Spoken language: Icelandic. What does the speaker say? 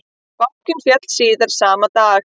Bankinn féll síðan síðar sama dag